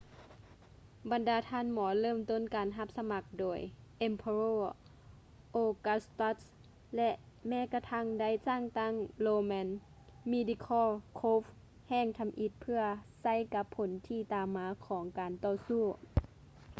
ບັນດາທ່ານໝໍເລີ່ມຕົ້ນການຮັບສະໝັກໂດຍ emperor augustus ແລະ ແມ້ກະທັ້ງໄດ້ສ້າງຕັ້ງ roman medical corps ແຫ່ງທຳອິດເພື່ອໃຊ້ກັບຜົນທີ່ຕາມມາຂອງການຕໍ່ສູ້